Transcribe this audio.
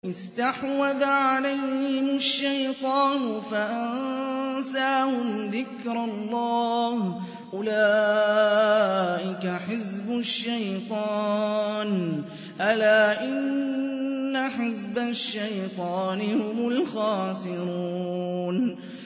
اسْتَحْوَذَ عَلَيْهِمُ الشَّيْطَانُ فَأَنسَاهُمْ ذِكْرَ اللَّهِ ۚ أُولَٰئِكَ حِزْبُ الشَّيْطَانِ ۚ أَلَا إِنَّ حِزْبَ الشَّيْطَانِ هُمُ الْخَاسِرُونَ